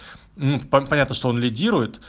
ну понятно что он лидерует